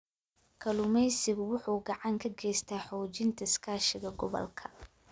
Kalluumeysigu wuxuu gacan ka geystaa xoojinta iskaashiga gobolka.